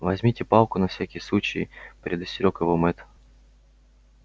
возьмите палку на всякий случай предостерёг его мэтт